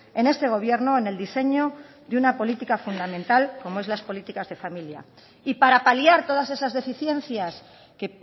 en este gobierno en el diseño y una política fundamental como es las políticas de familia y para paliar todas esas deficiencias que